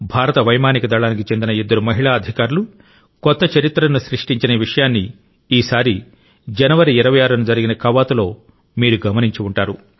భారత వైమానిక దళానికి చెందిన ఇద్దరు మహిళా అధికారులు కొత్త చరిత్రను సృష్టించిన విషయాన్ని ఈసారి జనవరి 26 న జరిగిన కవాతులో మీరు గమనించి ఉంటారు